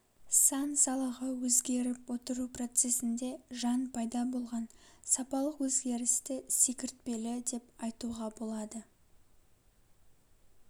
сан салаға өзгеріп отыру процесінде жан пайда болған сапалық өзгерісті секіртпелі деп айтуға болады